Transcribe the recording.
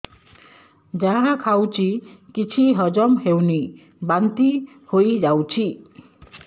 ଯାହା ଖାଉଛି କିଛି ହଜମ ହେଉନି ବାନ୍ତି ହୋଇଯାଉଛି